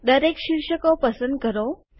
દરેક શિર્ષકો પસંદ કરો